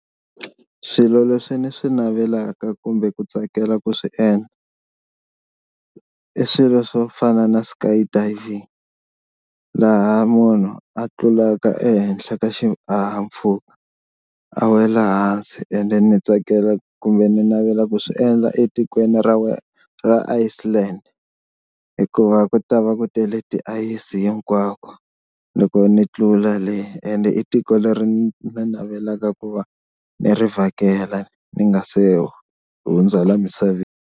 Swilo leswi ni swi navelaka kumbe ku tsakela ku swi endla i swilo swo fana na skydiving laha munhu a tlulaka ehenhla ka xihahampfhuka a wela hansi and then ndzi tsakela kumbe ni navela ku swiendla etikweni ra ra Iceland, hikuva ku ta va ku tele tiayisi hinkwako loko ni tlula le ende i tiko leri ni ni navelaka ku va ni ri vhakela ni nga se hundza la misaveni.